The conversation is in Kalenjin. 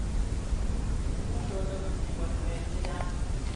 Tuguk chutok ko kiyai kanetik konyor pichiinwek chechang'